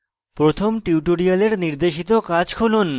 প্রথম tutorial নির্দেশিত কাজ খুলুন